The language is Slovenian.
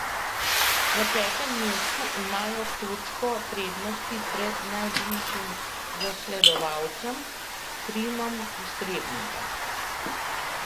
Na petem mestu imajo točko prednosti pred najbližjim zasledovalcem, Trimom iz Trebnjega.